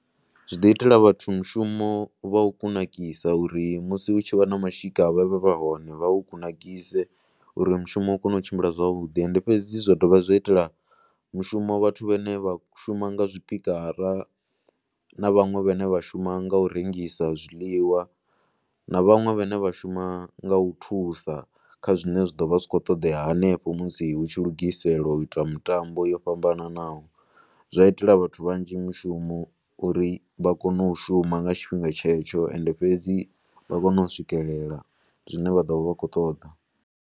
Zwi ḓo itela vhathu mushumo vha u kunakisa uri musi hu tshi vha na mashika vha vhe vha hone vha hu kunakise uri mushumo u kone u tshimbila zwavhuḓi. Ende fhedzi zwa dovha zwa itela mushumo vhathu vhane vha shuma nga zwipikara na vhaṅwe vhane vha shuma nga u rengisa zwiḽiwa. Na vhaṅwe vhane vha shuma nga u thusa kha zwine zwa ḓo vha zwi tshi khou ṱoḓea hanefho musi hu tshi lugisela u ita mitambo yo fhambanaho. Zwa itela vhathu vhanzhi mushumo uri vha kone u shuma nga tshifhinga tshetsho ende fhedzi vha kone u swikelela zwine vha ḓo vha vha khou ṱoḓa.